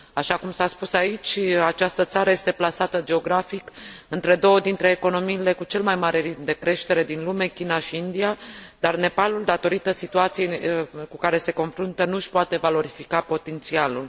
Așa cum s a spus aici, această țară este plasată geografic între două dintre economiile cu cel mai mare ritm de creștere din lume, China și India, dar Nepalul, datorită situației cu care se confruntă, nu își poate valorifica potențialul.